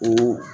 O